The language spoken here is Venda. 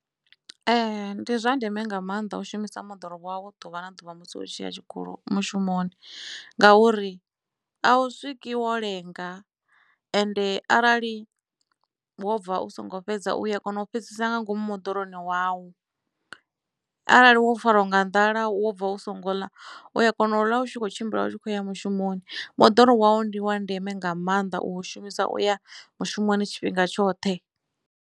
Ee ndi zwa ndeme nga mannḓa u shumisa moḓoro wau ḓuvha na ḓuvha musi u tshi ya tshikolo mushumoni ngauri a u swiki wo lenga ende arali wo bva u songo fhedza uya kona u fhedzisa nga ngomu moḓoroni wau arali wo farwa nga nḓala wo bva u songo ḽa u ya kona u ḽa u tshi kho tshimbila u tshi khoya mushumoni moḓoro wau ndi wa ndeme nga mannḓa u u shumisa uya mushumoni tshifhinga tshoṱhe.